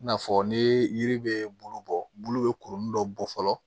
I n'a fɔ ni yiri bɛ bulu bɔ bulu bɛ kurunin dɔ bɔ fɔlɔ